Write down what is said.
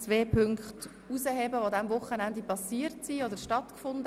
Zwei Anlässe dieses Wochenendes möchte ich gerne herausgreifen: